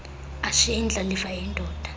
ashiye indlalifa eyindoda